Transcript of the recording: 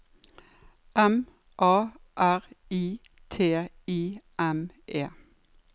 M A R I T I M E